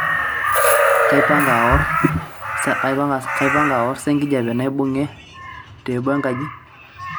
kaipanga aor sa enkijape naibung'e teebo enkaji